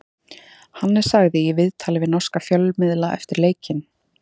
Hannes sagði í viðtali við norska fjölmiðla eftir leikinn: